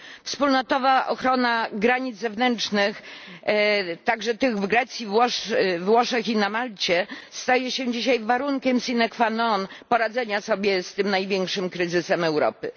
Wspólnotowa ochrona granic zewnętrznych, także tych w Grecji, we Włoszech i na Malcie, staje się dzisiaj warunkiem sine qua non poradzenia sobie z tym największym kryzysem Europy.